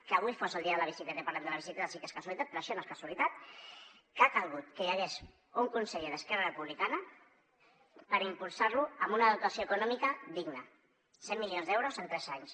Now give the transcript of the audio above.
que avui fos el dia de la bicicleta i parlem de la bicicleta sí que és casualitat però això no és casualitat que ha calgut que hi hagués un conseller d’esquerra republicana per impulsar ho amb una dotació econòmica digna cent milions d’euros en tres anys